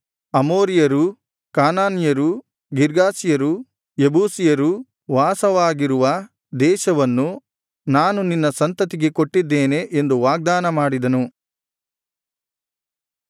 ಅಮೋರಿಯರೂ ಕಾನಾನ್ಯರೂ ಗಿರ್ಗಾಷಿಯರೂ ಯೆಬೂಸಿಯರೂ ವಾಸವಾಗಿರುವ ದೇಶವನ್ನು ನಾನು ನಿನ್ನ ಸಂತತಿಗೆ ಕೊಟ್ಟಿದ್ದೇನೆ ಎಂದು ವಾಗ್ದಾನ ಮಾಡಿದನು